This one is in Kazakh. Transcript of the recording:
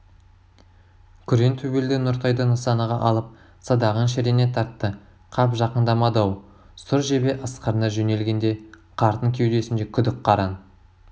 күрең төбелді нұртайды нысанаға алып садағын шірене тартты қап жақындамады-ау сұр жебе ысқырына жөнелгенде қартың кеудесінде күдік қараң